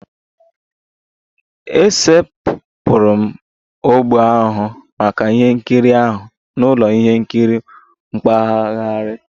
E setịpụrụ ogbo ahụ maka ihe nkiri ahụ n'ụlọ ihe nkiri mpaghara